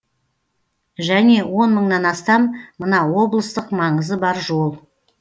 және он мыңнан астам мына облыстық маңызы бар жол